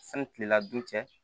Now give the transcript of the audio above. Sani kilela dun cɛ